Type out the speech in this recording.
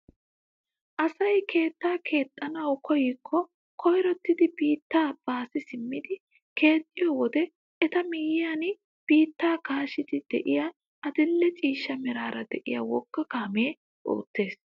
Asay keettaa keexxanawu koyikko koyrottidi biittaa baasi simmidi keexxiyoo wode eta miyiyaan biittaa kaashshiidi de'iyaa adil'e ciishsha meraara de'iyaa wogga kaamee oottees!